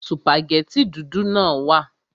Sùpàgẹ́tì dúdú náà wà